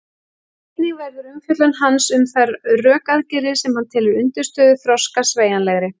Einnig verður umfjöllun hans um þær rökaðgerðir sem hann telur undirstöðu þroska sveigjanlegri.